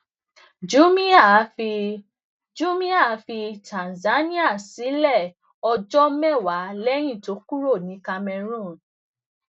oṣuwọn iwulo yii ni a yii ni a pe ni apr